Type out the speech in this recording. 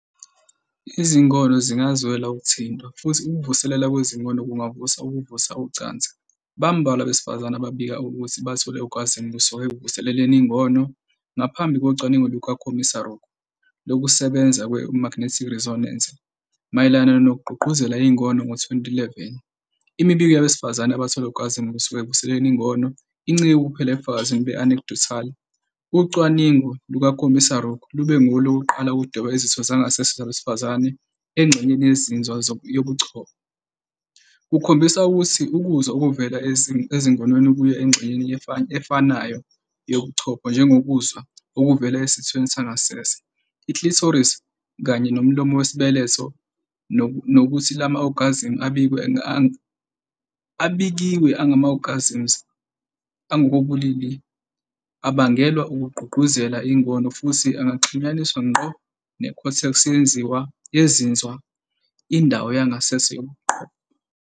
Izingono zingazwela ukuthintwa, futhi ukuvuselelwa kwezingono kungavusa ukuvusa ucansi. Bambalwa abesifazane ababika ukuthi bathola i- orgasm kusuka ekuvuseleleni ingono. Ngaphambi kocwaningo lukaKomisaruk et al.lokusebenza kwe- magnetic resonance, fMRI, mayelana nokugqugquzela ingono ngo-2011, imibiko yabesifazane abathola i-orgasm kusuka ekuvuseleleni ingono incike kuphela ebufakazini be-anecdotal. Ucwaningo lukaKomisaruk lube ngolokuqala ukudweba izitho zangasese zabesifazane engxenyeni yezinzwa yobuchopho, kukhombisa ukuthi ukuzwa okuvela ezingonweni kuya engxenyeni efanayo yobuchopho njengokuzwa okuvela esithweni sangasese, i-clitoris kanye nomlomo wesibeletho, nokuthi la ma-orgasms abikiwe angama-orgasms angokobulili abangelwa ukugqugquzela ingono, futhi angaxhunyaniswa ngqo ne-cortex yezinzwa, " indawo yangasese yobuchopho ".